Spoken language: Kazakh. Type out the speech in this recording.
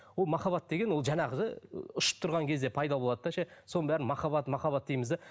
ол махаббат деген ол жаңағы ұшып тұрған кезде пайда болады да ше соның бәрін махаббат махаббат дейміз де